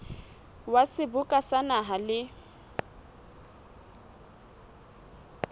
wa seboka sa naha le